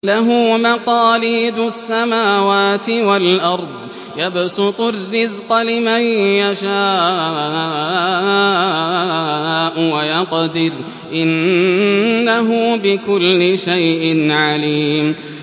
لَهُ مَقَالِيدُ السَّمَاوَاتِ وَالْأَرْضِ ۖ يَبْسُطُ الرِّزْقَ لِمَن يَشَاءُ وَيَقْدِرُ ۚ إِنَّهُ بِكُلِّ شَيْءٍ عَلِيمٌ